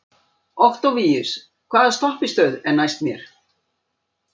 Októvíus, hvaða stoppistöð er næst mér?